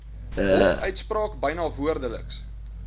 hofuitspraak byna woordeliks